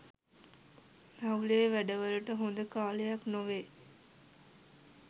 හවුලේ වැඩවලට හොඳ කාලයක්‌ නොවේ